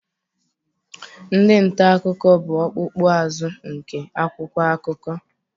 Ndị nta akụkọ bụ ọkpụkpụ azụ nke akwụkwọ akụkọ.